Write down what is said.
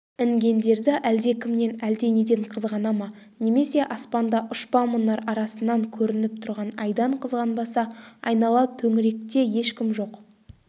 інгендерді әлдекімнен әлденеден қызғана ма немесе аспанда ұшпа мұнар арасынан көрініп тұрған айдан қызғанбаса айнала төңіректе ешкім жоқ